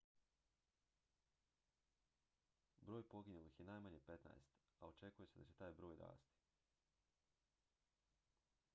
broj poginulih je najmanje 15 a očekuje se da će taj broj rasti